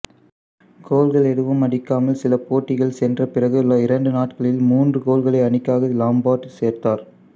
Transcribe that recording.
கோல்கள் எதுவும் அடிக்காமல் சில போட்டிகள் சென்ற பிறகு இரண்டு நாட்களில் மூன்று கோல்களை அணிக்காக லம்பார்டு சேர்த்தார்